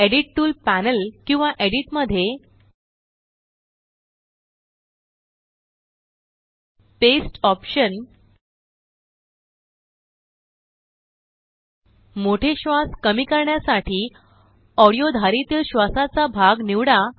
edit tool panel किंवा edit मध्ये जीटीजीटी पेस्ट ऑप्शन मोठे श्वास कमी करण्यासाठी ऑडीओ धारेतीलश्वासाचा भाग निवडा